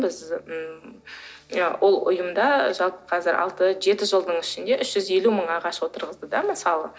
біз ммм ол ұйымда жалпы қазір алты жеті жылдың ішінде үш жүз елу мың ағаш отырғызды да мысалы